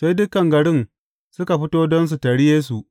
Sai dukan garin suka fito don su taryi Yesu.